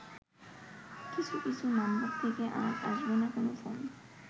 কিছু কিছু নাম্বার থেকে আর আসবেনা কোন ফোন